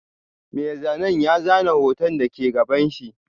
Mai zanen ya zana hoton da ke gabanshi.